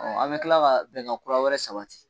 an bɛ kila ka bɛnkan kura wɛrɛ sabati.